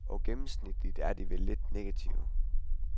Og gennemsnitligt er de vel lidt negative.